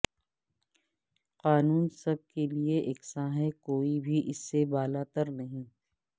قانون سب کیلئے یکساں ہے کوئی بھی اس سے بالاترنہیں